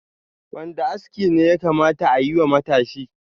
Wanda aski ne da yakata ayi wa matashi?